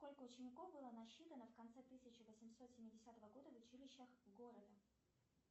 сколько учеников было насчитано в конце тысяча восемьсот семидесятого года в училищах города